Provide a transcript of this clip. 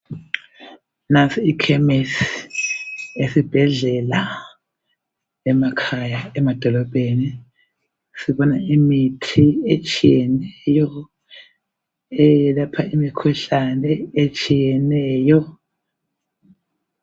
Nansi ikhemesi esibhedlela, emakhaya, emadolobheni. Sibona imithi etshiyeneyo, eyelapha imikhuhlane etshiyeneyo.